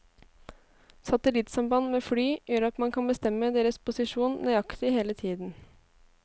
Satellittsamband med fly gjør at man kan bestemme deres posisjon nøyaktig hele tiden.